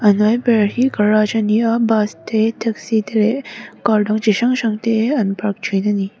a hnuai ber hi garage ani a bus te taxi te leh car dang chi hrang hrang an park thin ani.